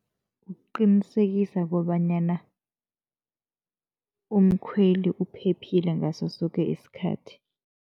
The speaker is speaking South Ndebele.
Kuqinisekisa kobanyana umkhweli uphephile ngaso soke isikhathi.